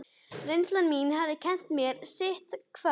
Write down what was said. Reynsla mín hafði kennt mér sitthvað.